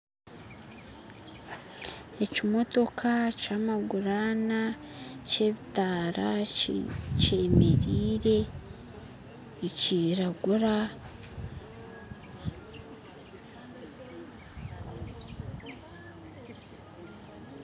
Ekimootoka kyamaguru ana kyebitaara kyemereire nikiragura